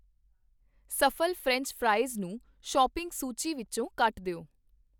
ਸਫ਼ਲ French fries ਨੂੰ shopping ਸੂਚੀ ਵਿੱਚੋ ਕੱਟ ਦਿਓ